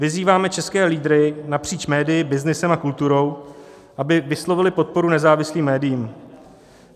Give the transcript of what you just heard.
Vyzýváme české lídry napříč médii, byznysem a kulturou, aby vyslovili podporu nezávislým médiím.